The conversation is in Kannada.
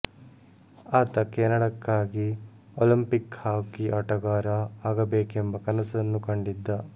ಆತ ಕೇನಡಾಕ್ಕಾಗಿ ಓಲಂಪಿಕ್ ಹಾಕಿ ಆಟಗಾರ ಆಗಬೇಕೆಂಬ ಕನಸನ್ನು ಕಂಡಿದ್ದ